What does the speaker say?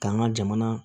K'an ka jamana